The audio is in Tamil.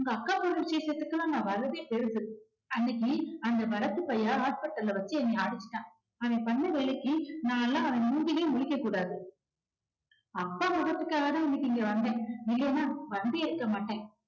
அக்கா பொண்ணு விசேஷத்துக்குலாம் நான் வரதே பெருசு அன்னைக்கு அந்த பரத் பையன் hospital ல வச்சு என்னை அடிச்சிட்டான். அவன் பண்ண வேலைக்கு நானெல்லாம் அவன் மூஞ்சிலே முழிக்ககூடாது. அக்கா முகத்துக்காக தான் நான் இன்னைக்கு இங்க வந்தேன். இல்லன்னா வந்தே இருக்க மாட்டேன்.